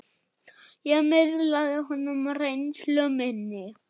Ég miðlaði honum reynslu minni.